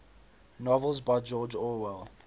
novels by george orwell